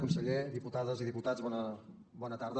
conseller diputades i diputats bona tarda